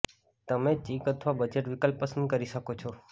તમે ચીક અથવા બજેટ વિકલ્પ પસંદ કરી શકો છો